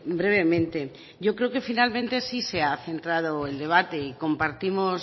brevemente yo creo que finalmente sí se ha centrado el debate y compartimos